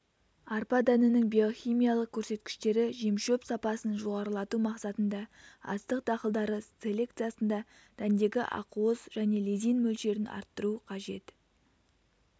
арпа дәнінің биохимиялық көрсеткіштері жемшөп сапасын жоғарылату мақсатында астық дақылдары селекциясында дәндегі ақуыз және лизин мөлшерін арттыру қажет